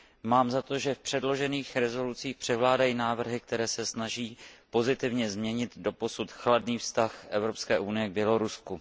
Mám za to, že v předložených usneseních převládají návrhy, které se snaží pozitivně změnit doposud chladný vztah Evropské unie k Bělorusku.